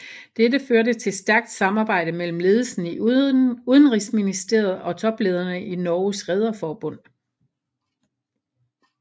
Dette førte til stærkt samarbejde mellem ledelsen i udenrigsministeriet og toplederne i Norges Rederforbund